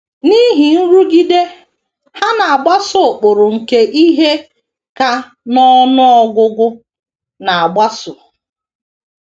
N’ihi nrụgide, ha na - agbaso ụkpụrụ nke ihe ka n’ọnụ ọgụgụ na - agbaso.